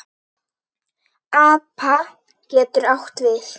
APA getur átt við